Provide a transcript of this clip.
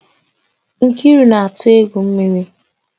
Nkiru na-atụ egwu mmiri